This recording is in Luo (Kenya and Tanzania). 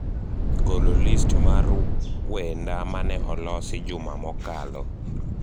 golo list mar wenda mane olosi juma mokalo